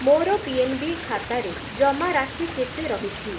ମୋର ପିଏନ୍‌ବି ଖାତାରେ ଜମାରାଶି କେତେ ରହିଛି?